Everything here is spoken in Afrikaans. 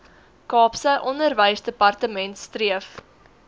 kaapse onderwysdepartement streef